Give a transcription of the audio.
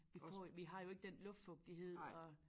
Vi får vi har jo ikke den luftfugtighed og